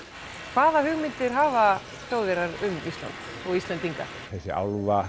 hvaða hugmyndir hafa Þjóðverjar um Ísland og Íslendinga þessi